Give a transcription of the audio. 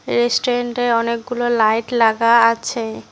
রেস্টুরেন্টে অনেকগুলো লাইট লাগা আছে।